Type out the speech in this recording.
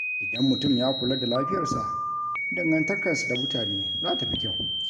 Idan mutum ya kula da lafiyarsa, dangantakarsa da mutane za ta fi kyau.